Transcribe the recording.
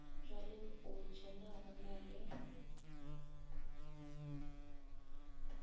bjalempotše na go na le